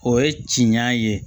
O ye ciɲan ye